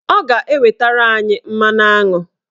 Ọ ga-ewetara anyị mmanụaṅụ.